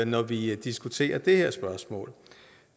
når vi diskuterer det her spørgsmål